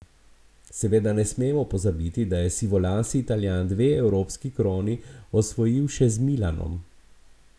Seveda ne smemo pozabiti, da je sivolasi Italijan dve evropski kroni osvojil še z Milanom.